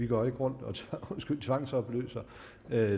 går rundt og tvangsopløser